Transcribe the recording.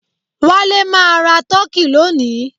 Wale máa ra turkey lónìí